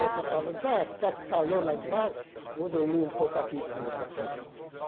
Você fala, Zé, está calor lá embaixo, vou dormir um pouco aqui em cima.